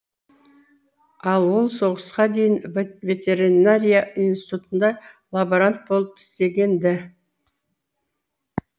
ал ол соғысқа дейін ветеринария институтында лаборант болып істеген ді